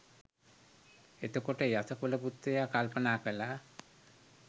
එතකොට යස කුලපුත්‍රයා කල්පනා කළා